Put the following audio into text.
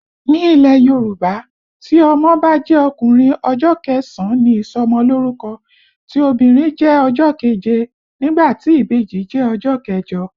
Ní ilẹ̀ Yorùbá, tí ọmọ bá jẹ́ ọkùnrin, ọjọ́ kẹsàn-án ni ìsọmọ lórúkọ, tí obìnrin jẹ́ ọjọ́ keje nígbà tí ìbejì jẹ́ ọjọ́ kẹjọ